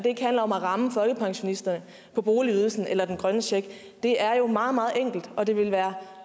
ikke handler om at ramme folkepensionister på boligydelsen eller den grønne check er jo meget meget enkelt og det ville være